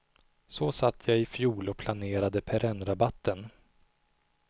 Så satt jag i fjol och planerade perennrabatten.